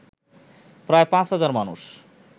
প্রায় ৫ হাজার মানুষ